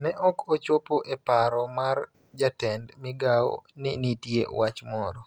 ne ok ochopo e paro mar Jatend Migao ni nitie wach moro